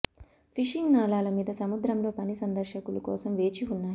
fishing నాళాలు మీద సముద్రంలో పని సందర్శకులు కోసం వేచి ఉన్నాయి